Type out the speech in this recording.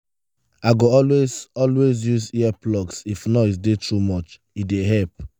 i go always always use earplugs if noise dey too much; e dey help.